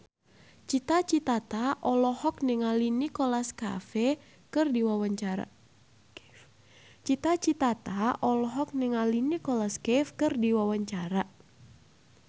Cita Citata olohok ningali Nicholas Cafe keur diwawancara